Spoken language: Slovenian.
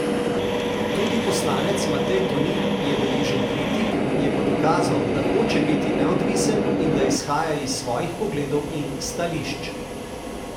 Tudi poslanec Matej Tonin je deležen kritik, je pa dokazal, da hoče biti neodvisen in da izhaja iz svojih pogledov in stališč.